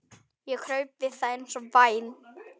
Ég kraup við það eins og væm